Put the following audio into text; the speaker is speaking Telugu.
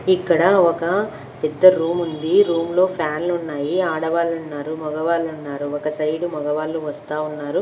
ఇక్కడ ఒక పెద్ద రూముంది రూమ్ లో ఫ్యాన్లున్నాయి ఆడవాళ్ళున్నారు మగవాళ్ళున్నారు ఒక సైడు మగవాళ్ళు వస్తా ఉన్నారు.